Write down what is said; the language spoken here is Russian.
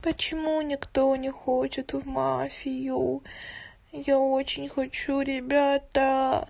почему никто не хочет в мафию я очень хочу ребята